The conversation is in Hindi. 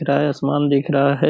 दिख रहा है आसमान दिख रहा है।